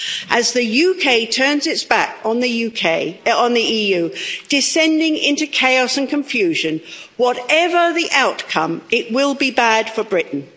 As the UK turns its back on the EU, descending into chaos and confusion, whatever the outcome, it will be bad for Britain.